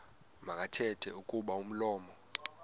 makathethe kuba umlomo